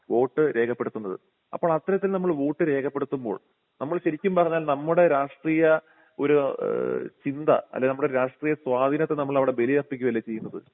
Vote രേഖപ്പെടുത്തുന്നത്. അപ്പോൾ അത്തരത്തിൽ നമ്മൾ വോട്ട് രേഖപ്പെടുത്തുമ്പോൾ നമ്മൾ ശരിക്കും പറഞ്ഞാൽ നമ്മുടെ രാഷ്ട്രീയ ഒരു ഏഹ് ചിന്താ അല്ലേൽ നമ്മുടെ രാഷ്ട്രീയ സ്വാധീനത്തെ നമ്മൾ അവിടെ ബലിയർപ്പിക്കുകയല്ലേ ചെയ്യുന്നത്?